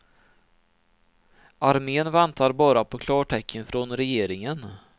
Armén väntar bara på klartecken från regeringen.